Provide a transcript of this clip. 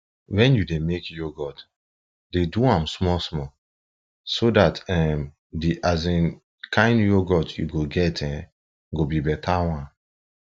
when you dey make yoghurt dey do am small small so dat um the um kind yoghurt you go get um go be better one